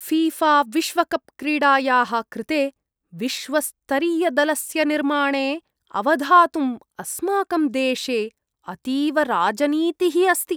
ऴीऴाविश्वकप् क्रीडायाः कृते विश्वस्तरीयदलस्य निर्माणे अवधातुम् अस्माकं देशे अतीव राजनीतिः अस्ति।